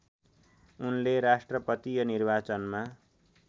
उनले राष्ट्रपतीय निर्वाचनमा